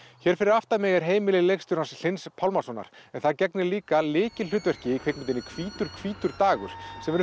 hér fyrir aftan mig er heimili leikstjórans Hlyns Pálmasonar en það gegnir líka lykilhlutverki í kvikmyndinni hvítur hvítur dagur